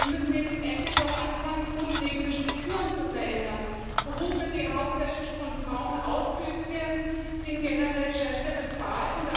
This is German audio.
Wir müssen endlich auch anfangen, grundlegende Strukturen zu verändern. Berufe, die hauptsächlich von Frauen ausgeübt werden, sind generell schlechter bezahlt.